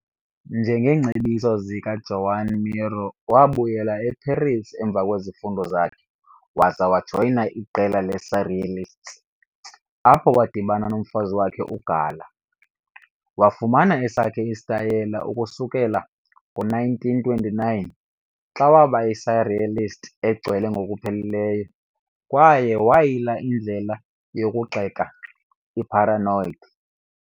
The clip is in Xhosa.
Ngeengcebiso zikaJoan Miró, wabuyela eParis emva kwezifundo zakhe waza wajoyina iqela le-surrealists, apho wadibana nomfazi wakhe uGala. Wafumana esakhe isitayile ukusukela ngo-1929, xa waba yi-surrealist egcwele ngokupheleleyo kwaye wayila indlela yokugxeka i-paranoid.